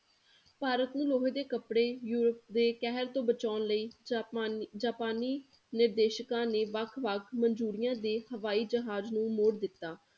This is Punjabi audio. ਭਾਰਤ ਨੂੰ ਲੋਹੇ ਦੇ ਕਪੜੇ ਯੂਰਪ ਦੇ ਕਹਿਰ ਤੋਂ ਬਚਾਉਣ ਲਈ ਜਾਪਾਨੀ ਜਾਪਾਨੀ ਨਿਰਦੇਸ਼ਕਾਂ ਨੇ ਵੱਖ ਵੱਖ ਮਜੂਰੀਆਂ ਦੇ ਹਵਾਈ ਜਹਾਜ਼ ਨੂੰ ਮੋੜ ਦਿਤਾ।